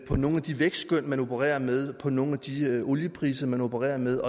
om nogle af de vækstskøn man opererer med om nogle af de oliepriser man opererer med